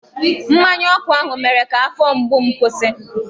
Mmanya ọkụ ahụ mere ka afọ mgbu m kwụsị.